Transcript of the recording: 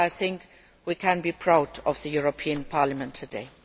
I think we can be proud of the European Parliament today.